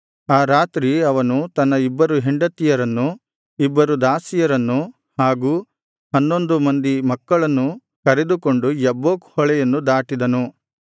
ಆ ರಾತ್ರಿ ಅವನು ತನ್ನ ಇಬ್ಬರು ಹೆಂಡತಿಯರನ್ನು ಇಬ್ಬರು ದಾಸಿಯರನ್ನು ಹಾಗೂ ಹನ್ನೊಂದು ಮಂದಿ ಮಕ್ಕಳನ್ನು ಕರೆದುಕೊಂಡು ಯಬ್ಬೋಕ್ ಹೊಳೆಯನ್ನು ದಾಟಿದನು